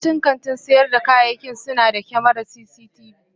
Yawancin kantin sayar da kayayyaki suna da kyamarar cctv.